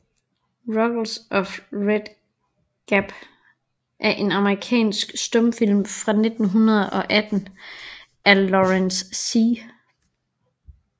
Ruggles of Red Gap er en amerikansk stumfilm fra 1918 af Lawrence C